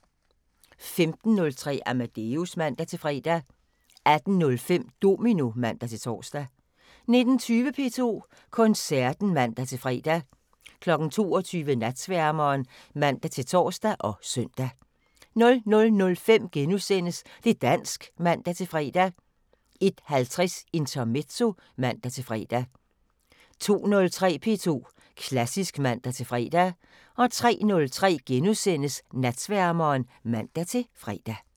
15:03: Amadeus (man-fre) 18:05: Domino (man-tor) 19:20: P2 Koncerten (man-fre) 22:00: Natsværmeren (man-tor og søn) 00:05: Det' dansk *(man-fre) 01:50: Intermezzo (man-fre) 02:03: P2 Klassisk (man-fre) 03:03: Natsværmeren *(man-fre)